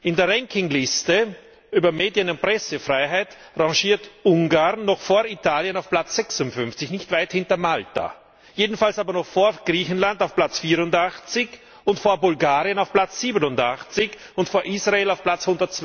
In der Rankingliste über Medien und Pressefreiheit rangiert Ungarn noch vor Italien auf Platz 56, nicht weit hinter Malta, jedenfalls aber noch vor Griechenland auf Platz 84, vor Bulgarien auf Platz 87 und vor Israel auf Platz